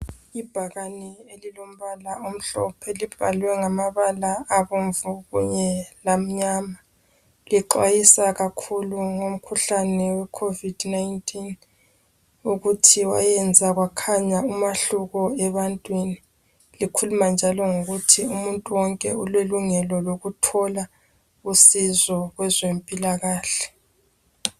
Ibhakane elilombala omhlophe . Libhaliwe ngamabala abomvu kunye lsmnyama Lixwayisa kakhulu, ngomkhuhlane weCovid 19. Ukuthi wayenza kwakhanya umahluko ebantwini. Likhuluma njalo ngokuthi umuntu wonke ulelungelo lokuthola usizo kwezempilakahle.